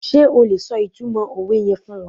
Sé o lè so ìtumọ̀ òwe yen fún wa?